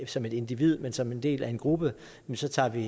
som et individ men som en del af en gruppe så tager vi